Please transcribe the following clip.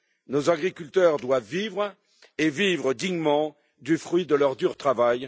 Nos agriculteurs doivent vivre et vivre dignement du fruit de leur dur travail.